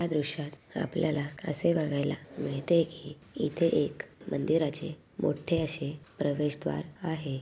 या दृश्यात आपल्याला असे बघायला मिळते की इथे एक मंदिराचे मोठे अशी प्रवेशद्वार आहे.